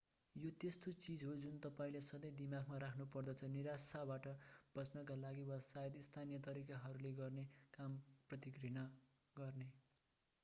यो त्यस्तो चीज हो जुन तपाईंले सधैं दिमागमा राख्नुपर्दछ निराशाबाट बच्नका लागि वा सायद स्थानीय तरिकाहरूले गर्ने काम प्रति घृणा गर्ने